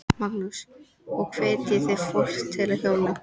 Magnús: Og hvetjið þið fólk til að hjóla?